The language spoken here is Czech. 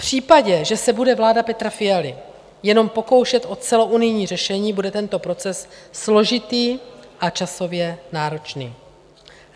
V případě, že se bude vláda Petra Fialy jen pokoušet o celounijní řešení, bude tento proces složitý a časově náročný.